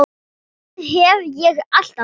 Það hef ég alltaf gert.